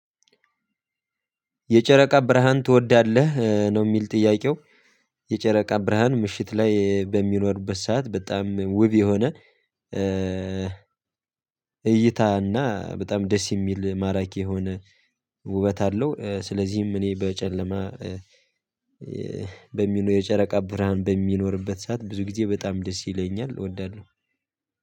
የጨረቃ ብርሃን ትወዳለህ ነው የሚል ጥያቄው? የጨረቃ ብርሃን ምሽት ላይ በሚኖርበት ሰዓት በጣም ውብ የሆነ እይታና በጣም ደስ የሚል ማራኪ የሆነ ውበት አለው። ስለዚህም እኔ በጨለማ በሚለው የጨረቃ ብርሃን በሚኖርበት ሰዓት ብዙ ጊዜ በጣም ደስ ይለኛል እወዳለሁ